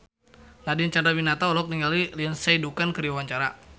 Nadine Chandrawinata olohok ningali Lindsay Ducan keur diwawancara